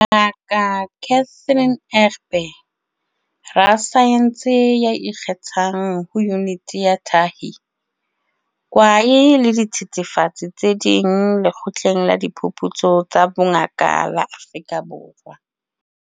Ngaka Catherine Egbe, rasaense ya ikgethang ho Yuniti ya Tahi, Kwae le Dithethefatsi tse Ding Lekgotleng la Diphuputso tsa Bongaka la Afrika Borwa.